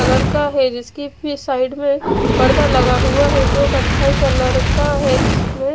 colour का है जिसकी साइड में पर्दा लगा हुआ है जो कथाई कलर का है जिसमे--